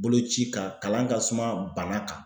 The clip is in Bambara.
Boloci kan kalan ka suma bana kan.